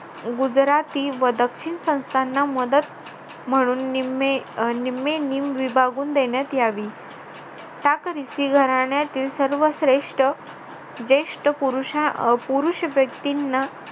गुजराती व दक्षिण संस्थांना मदत म्हणून निम्मे विभागून देण्यात यावी घराण्यातील सर्वश्रेष्ठ ज्येष्ठ पुरुष व्यक्तींना